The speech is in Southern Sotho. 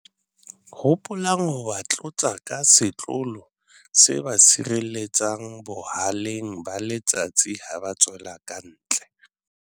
Hopolang ho ba tlotsa ka setlolo se ba sireletsang boha-leng ba letsatsi ha ba tswela kantle.